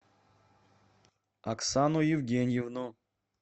оксану евгеньевну